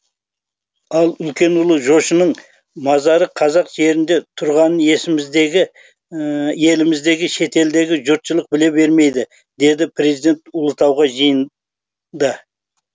ал үлкен ұлы жошының мазары қазақ жерінде тұрғанын еліміздегі шетелдегі жұртшылық біле бермейді деді президент ұлытауда жиында